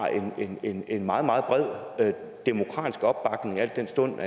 en en meget meget bred demokratisk opbakning al den stund